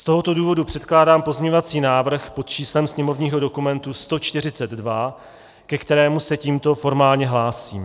Z tohoto důvodu předkládám pozměňovací návrh pod číslem sněmovního dokumentu 142, ke kterému se tímto formálně hlásím.